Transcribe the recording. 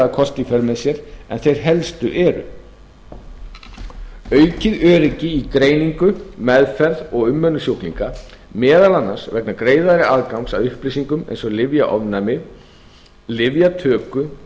för með sér en þeir helstu eru aukið öryggi í greiningu meðferð og umönnun sjúklinga meðal annars vegna greiðari aðgangs að upplýsingum eins og lyfjaofnæmi lyfjatöku